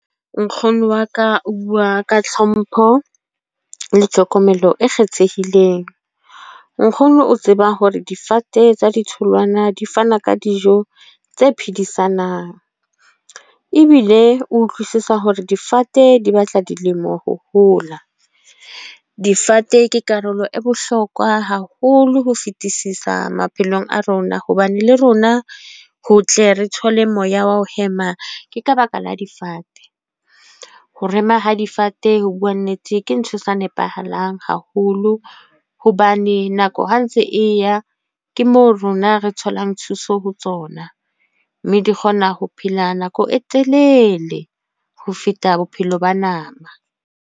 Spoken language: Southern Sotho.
Nkgono wa ka o bua ka hlompho, le tlhokomelo e kgethehileng. Nkgono o tseba hore difate tsa ditholwana di fana ka dijo tse phedisanang. Ebile o utlwisisa hore difate di batla dilemo ho hola. Difate ke karolo e bohlokwa haholo ho fetisisa maphelong a rona. Hobane le rona ho tle re thole moya wa ho hema, ke ka baka la difate. Ho rema ha difate ho bua nnete ke ntho e sa nepahalang haholo. Hobane nako ha ntse e ya, ke moo rona re tholang thuso ho tsona. Mme di kgona ho phela nako e telele ho feta bophelo ba nama.